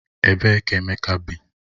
Ebee ka Emeka bi?